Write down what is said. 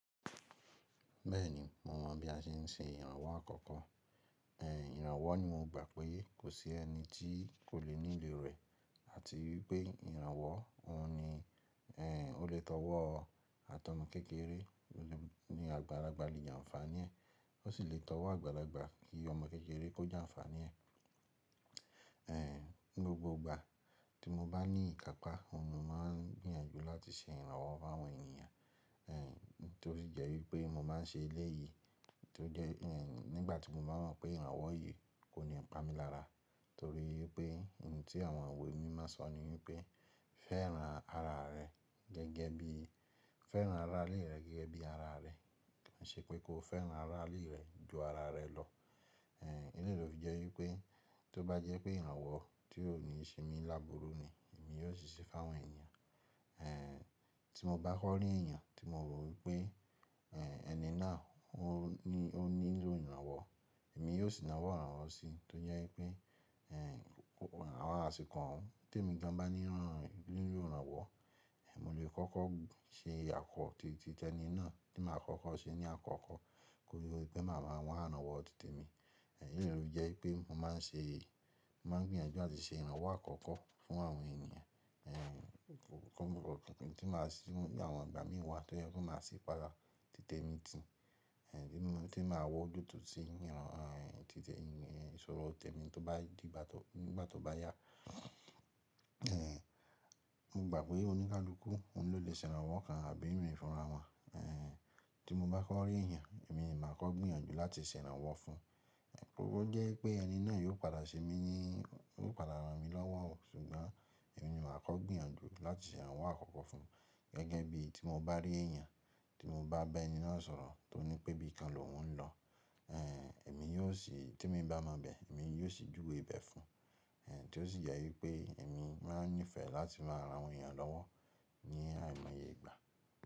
Bẹ́ẹ̀ni, mo mọ̀ bí a ṣe n ṣe ìrànwọ́ àkọ́kọ́. È, ìrànwọ́ ni mo gbà pé kò sí ẹni tí kò lè nílò rẹ̀. Àti wípé ìrànwọ́ òhun ni, è, ó lè tọ́wọ́ ọ àtọ̀mo kékeré ní àgbàlagbà lè jàǹfàní ẹ́, ó sì lè tọ́wọ́ àgbàlagbà kí ọmọ kékeré kó jàǹfàní ẹ́. È, ní gbogbo ìgbà tí mo bá ní ìkápá, mo máa ń gbìyànjú láti ṣe ìrànwọ́ fáwọn ènìyàn. È, tó sì jẹ́ wípé mo má n ṣe eléyìí, tó jẹ́, è, nígbà tí mo bá mọ̀ pé ìrànwọ́ yìí kò ní pa mí lára. Nítorí pé ohun tí àwọn iwẹ̀ mimo sọ̀ ni wípé fẹ́ran ara rẹ gẹ́gẹ́ bí, fẹ́ran ara lérẹ́ gẹ́gẹ́ bí ara rẹ, kiṣé pé kó fẹ́ran ara lérẹ́ ju ara rẹ lọ. È, eléyìí ló fi jẹ́ wípé tó bá jẹ́ pé ìrànwọ́ tí ò ní shemi lábùúrú ni, èmi yóò ṣiṣẹ́ fáwọn ènìyàn. È, tí mo bá kọ rí èèyàn tí mo rò wípé, è, ẹni náà ó nílò ìrànwọ́, èmi yóò sì náwọ́ ìrànwọ́ sí i. Tó jẹ́ wípé, è, àwọn asiko, te mi gan bá nílò ìrànwọ́, mo lè kọ́kọ́ ṣe àkọọ́ títẹni náà tí màá kọ́kọ́ ṣe ní àkọ́kọ́ kó tó di wípé màá máa wa iranwọ títẹ mi. È, eléyìí ló fi jẹ́ wípé mo má n ṣe, mo máa ń gbìyànjú láti ṣe ìrànwọ́ àkọ́kọ́ fún àwọn ènìyàn. È, kọ̀kọ̀ kan kí n tó máa sì wí bí àwọn ìgbà mí wá tó jẹ́ kó máa sì pa lára títẹ mi tì. È, tí màá wọ́ ju tu tí ìràn, títẹ èyí, è, sọ̀rọ̀ tẹ́mi tó bá di ìgbà tó, nígbà tó bá yá. È, mo gbà pé oníkálukú òun ló lè ṣẹ̀rànwọ́ kan àbí min fúnra wọn. È, tí mo bá kọ rí ẹ̀yàn, èmi máa kọ̀ gbìyànjú láti ṣẹ̀rànwọ́ fún. Ẹ̀, o jẹ́ wípé ẹni náà yóò padà ṣe mí ní, yóò padà rán mi lọ́wọ́, ṣùgbọ́n èmi ni màá kọ̀ gbìyànjú láti ṣẹ̀rànwọ́ àkọ́kọ́ fún. Gẹ́gẹ́ bí tí mo bá rí ẹ̀yàn, tí mo bá bá ẹni náà sọ̀rọ̀ tó ní pé bí i kan lòun ń lọ. È, èmi yóò sì, tí èmi bá mọ bẹ̀, èmi yóò sì júwe bẹ̀ fún. È, tó sì jẹ wípé èmi máa ń nífẹ̀ẹ́ láti máa rán àwọn ènìyàn lọ́wọ́ ní àìmọye ìgbà.